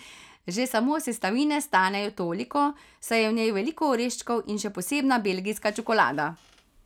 Že samo sestavine stanejo toliko, saj je v njej veliko oreščkov in še posebna belgijska čokolada.